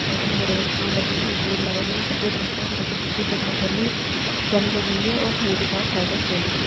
Garden मै बड़े-बड़े पेड़ लगे हुए है एक बोर्ड लगा है जोकी सफेद रंग का है सड़क के दूसरे तरफ पर भी जाली लगी हुई है और हरी-हरी घास चारों तरफ फेली हुई है।